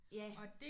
Ja